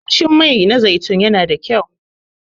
Kamshi Mai na zaitun yana da kyau.